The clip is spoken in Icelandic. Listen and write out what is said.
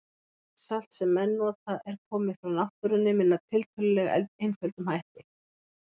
Allt salt sem menn nota er komið frá náttúrunni með tiltölulega einföldum hætti.